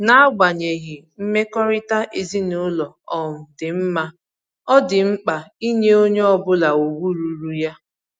N'agbanyeghị mmekọrịta ezinụlọ um dị mma, ọ dị mkpa inye onye ọbụla ugwu ruuru ya